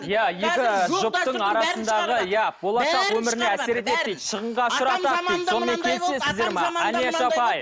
иә екі жұптың арасындағы иә болашақ өміріне әсер етеді дейді шығынға ұшыратады дейді сонымен келісесіздер ме алияш апай